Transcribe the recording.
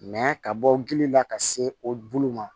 ka bɔ gili la ka se o bulu ma